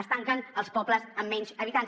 es tanquen als pobles amb menys habitants